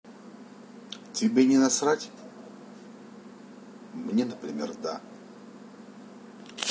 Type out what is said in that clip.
тебе не насрать мне например да